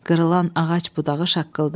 Qırılan ağac budağı şaqqıldadı.